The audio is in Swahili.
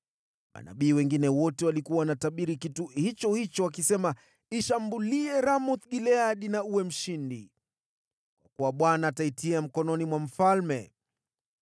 Manabii wengine wote walikuwa wanatabiri kitu hicho hicho, wakisema, “Ishambulie Ramoth-Gileadi na uwe mshindi. Kwa kuwa Bwana ataitia mkononi mwa mfalme.”